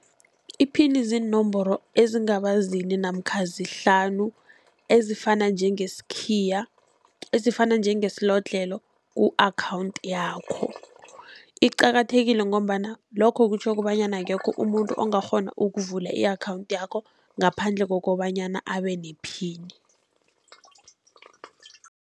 Iphini ziinomboro ezingaba zine namkha zihlanu ezifana njengeskhiya, ezifana njengesilodlhelo ku-account yakho. Iqakathekile ngombana lokho kutjho kobanyana akekho umuntu ongakghona ukuvula i-account yakho, ngaphandle kokobanyana abe nephini.